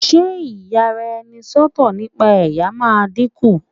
ṣe iyaraenisọtọ nipa ẹyà ma diku